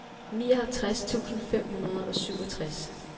nioghalvtreds tusind fem hundrede og syvogtres